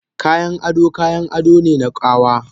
Kayan ado kayan ado ne na ƙawa